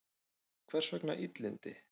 Hvers vegna illindi?